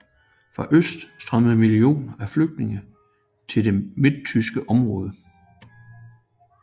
Fra øst strømmede millioner af flygtninge til de midttyske områder